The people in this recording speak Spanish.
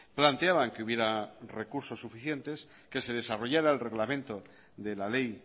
planteaban que hubiera recursos suficientes que se desarrollara el reglamento de la ley